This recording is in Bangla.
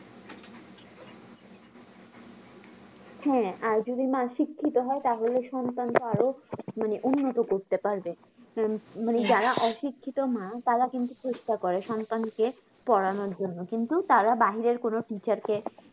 হ্যাঁ আর যদি মা শিক্ষিত হয় তাহলে সন্তানকে আরও মানে উন্নত করতে পারবে যারা অশিক্ষিত মা তারা কিন্তু চেস্টা করে সন্তানকে পোড়ানোর জন্য কিন্তু তারা বাহিরের কোনো teacher কে